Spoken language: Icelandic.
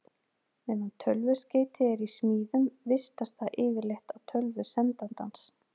Meðan tölvuskeyti er í smíðum vistast það yfirleitt á tölvu sendandans.